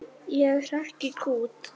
Ég hrekk í kút.